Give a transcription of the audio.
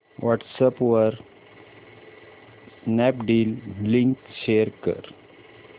WhatsApp वर Snapdeal link share कर